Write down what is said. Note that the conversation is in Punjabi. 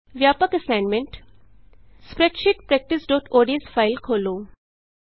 ਵਿਆਪਕ ਅਸਾਈਨਮੈਂਟ ਸਪਰੈੱਡਸ਼ੀਟ ਪੈ੍ਕਟਿਸਓਡੀਐਸਸਪ੍ਰੈਡਸ਼ੀਟ practiceਓਡੀਐਸ ਫਾਇਲ ਖੋਲ੍ਹੋ